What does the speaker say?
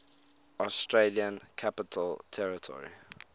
australian capital territory